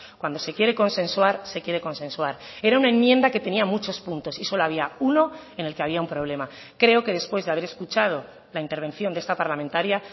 cuando se quiere consensuar se quiere consensuar era una enmienda que tenía muchos puntos y solo había uno en el que había un problema creo que después de haber escuchado la intervención de esta parlamentaria